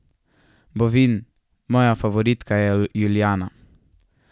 Bovin: 'Moja favoritka je Julijana.